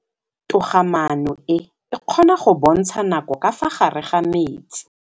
Toga-maanô e, e kgona go bontsha nakô ka fa gare ga metsi.